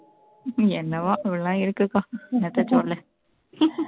என்னமோ அப்படி எல்லாம் இருக்குப்பா என்னத்த சொல்ல